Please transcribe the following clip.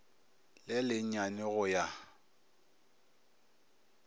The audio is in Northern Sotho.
le le nyane go ya